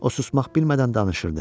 O susmaq bilmədən danışırdı.